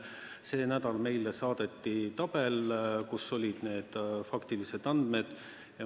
See nädal saadeti meile tabel, kus olid faktilised andmed.